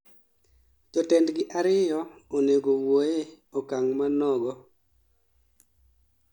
jotendgi ariyo onego owuoye okang' manogo